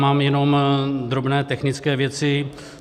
Mám jenom drobné technické věci.